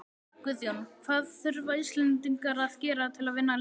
Guðjón, hvað þurfa Íslendingar að gera til að vinna leikinn?